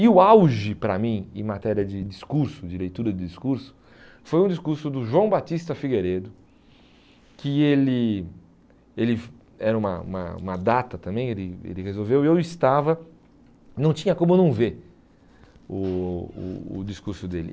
E o auge para mim, em matéria de discurso, de leitura de discurso, foi um discurso do João Batista Figueiredo, que ele ele era uma uma uma data também, ele ele resolveu, e eu estava, não tinha como não ver o o o discurso dele.